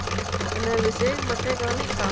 En hefði Sigmar tekið það líka?